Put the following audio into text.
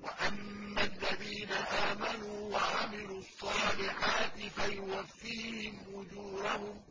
وَأَمَّا الَّذِينَ آمَنُوا وَعَمِلُوا الصَّالِحَاتِ فَيُوَفِّيهِمْ أُجُورَهُمْ ۗ